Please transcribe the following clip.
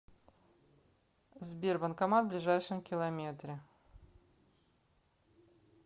сбер банкомат в ближайшем километре